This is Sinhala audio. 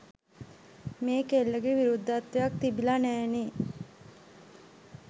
මේ කෙල්ලගේ විරුද්ධත්වයක් තිබිලා නෑනේ.